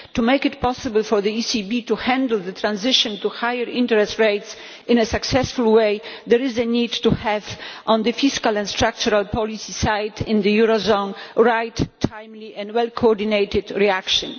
To make it possible for the ECB to handle the transition to higher interest rates in a successful way, there is a need to have on the fiscal and structural policies side of the Eurozone right, timely and well coordinated reaction.